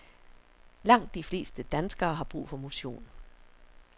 Langt de fleste danskere har brug for motion.